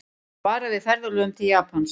Varað við ferðalögum til Japans